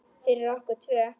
Fyrir okkur tvö.